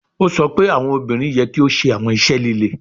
O sọ pe awọn obinrin yẹ ki o ṣe awọn iṣẹ lile